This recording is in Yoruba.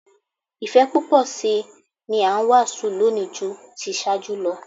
Ìfẹ́ púpọ̀ sí i ni a ń wàásù lónìí ju ti ìṣáájú lọ